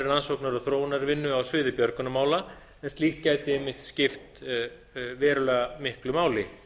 rannsóknar og þróunarvinnu á sviði björgunarmála en líkt gæti einmitt skipt verulega miklu máli